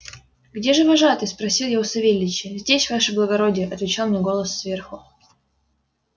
где же вожатый спросил я у савельича здесь ваше благородие отвечал мне голос сверху